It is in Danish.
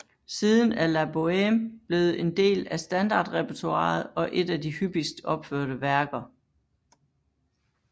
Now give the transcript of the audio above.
Siden er La Bohème blevet en del af standardrepertoiret og et af de hyppigst opførte værker